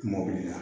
Mɔbili la